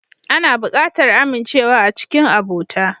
Ana buƙatar amincewa a cikin abota.